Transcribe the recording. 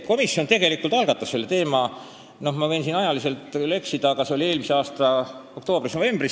Komisjon tegelikult algatas selle teema, ma võin siin ajaga küll eksida, see oli vist eelmise aasta oktoobris-novembris.